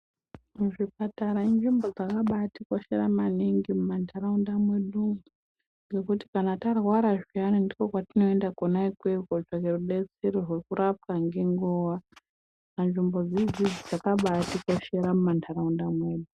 Muzvipatara inzvimbo dzakabatikoshera maningi mumantaraunda mwedu ngekuti kana tarwara zviyani ndikwo kwatinoenda kwona ikweyo kotsvaka rubetaero rwekurapwa ngenguwa saka nzvimbodzi idzidzi dzakabatikoshera mantaraunda mwedu.